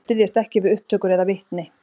Styðjast ekki við upptökur eða vitni